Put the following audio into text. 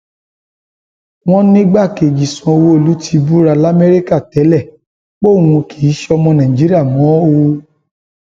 wọn nìgbàkejì sanwóolu ti búra lamẹríkà tẹlẹ póun kì í sọmọ nàìjíríà mọ o